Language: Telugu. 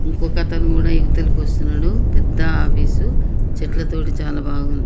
ఇంకొకతను కూడా ఇవతలకి వస్తున్నాడు పెద్ద ఆఫీసు చెట్ల తోటి చాలా బాగుంది.